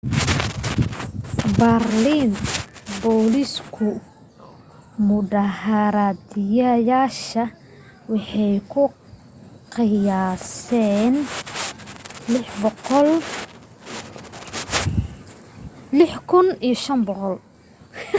baarliin booliisku mudaharadayaasha waxay ku qiyaaseen 6,500